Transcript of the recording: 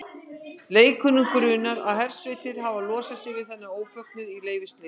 Leikur grunur á að hersveitir hafi losað sig við þennan ófögnuð í leyfisleysi.